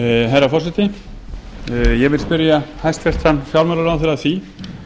herra forseti ég vil spyrja hæstvirtan fjármálaráðherra að því